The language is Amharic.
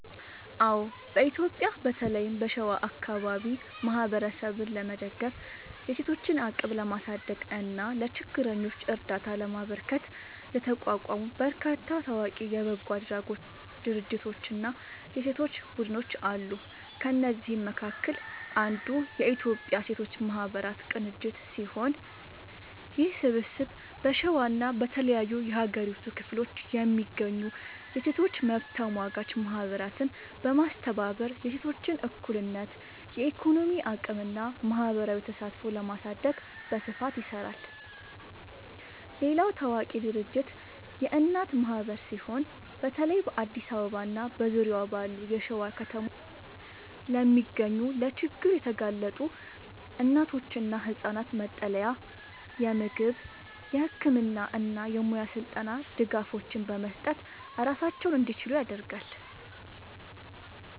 አዎ፣ በኢትዮጵያ በተለይም በሸዋ አካባቢ ማህበረሰብን ለመደገፍ፣ የሴቶችን አቅም ለማሳደግ እና ለችግረኞች እርዳታ ለማበርከት የተቋቋሙ በርካታ ታዋቂ የበጎ አድራጎት ድርጅቶችና የሴቶች ቡድኖች አሉ። ከእነዚህም መካከል አንዱ የኢትዮጵያ ሴቶች ማህበራት ቅንጅት ሲሆን፣ ይህ ስብስብ በሸዋና በተለያዩ የሀገሪቱ ክፍሎች የሚገኙ የሴቶች መብት ተሟጋች ማህበራትን በማስተባበር የሴቶችን እኩልነት፣ የኢኮኖሚ አቅምና ማህበራዊ ተሳትፎ ለማሳደግ በስፋት ይሰራል። ሌላው ታዋቂ ድርጅት የእናት ማህበር ሲሆን፣ በተለይ በአዲስ አበባና በዙሪያዋ ባሉ የሸዋ ከተሞች ለሚገኙ ለችግር የተጋለጡ እናቶችና ህጻናት መጠለያ፣ የምግብ፣ የህክምና እና የሙያ ስልጠና ድጋፎችን በመስጠት ራሳቸውን እንዲችሉ ያደርጋል።